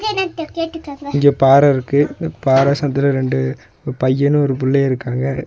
இங்க பாற இருக்கு இந்த பாற சந்துல ரெண்டு பையனு ஒரு புள்ளயு இருக்காங்க.